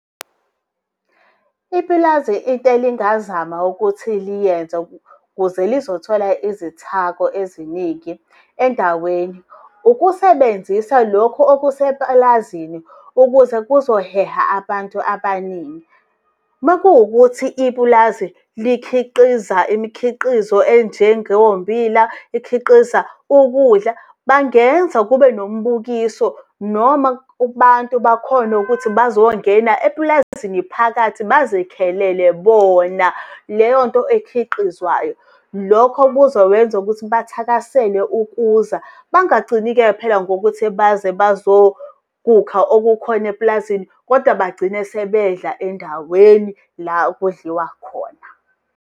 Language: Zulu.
Ipulazi into elingazama ukuthi liyenza ukuze lizothola izithako eziningi endaweni, ukusebenzisa lokhu okuseplazini ukuze kuzoheha abantu abaningi. Makuwukuthi ipulazi likhiqiza imikhiqizo enjengombila, ikhiqiza ukudla. Bangenza kube ngombukiso noma kubantu bakhone ukuthi bazongena epulazini phakathi bazikhelele bona leyo nto ekhiqizwayo. Lokho kuzokwenza ukuthi bathakasele ukuza. Bangagcini-ke phela ngokuthi baze bazokukha okukhona eplazini kodwa bagcina sebedla endaweni la kudliwa khona